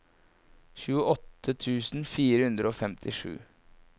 tjueåtte tusen fire hundre og femtisju